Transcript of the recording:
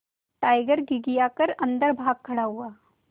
tiger घिघिया कर अन्दर भाग खड़ा हुआ